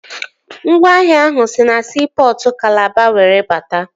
Ngwaahịa ahụ si na siipọtụ Kalaba were bata